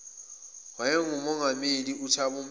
owayengumongameli uthabo mbeki